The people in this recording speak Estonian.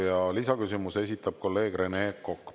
Ja lisaküsimuse esitab kolleeg Rene Kokk.